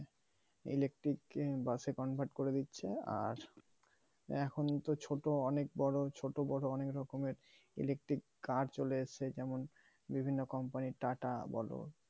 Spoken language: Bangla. electric বাসে convert করে দিচ্ছে আর এখন তো ছোট অনেক বড়ো ছোট বড়ো অনেক রকমের electric car চলে এসছে যেমন বিভিন্ন company tata বলো